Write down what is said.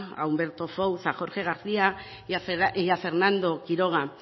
a humberto fouz a jorge garcía y a fernando quiroga